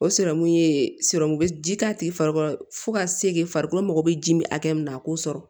O sirɔmu ye ji k'a tigi farikolo fo ka segi farikolo mako be ji mi hakɛ min na a k'o sɔrɔ